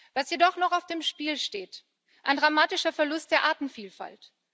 Was jedoch noch auf dem Spiel steht ein dramatischer Verlust der Artenvielfalt.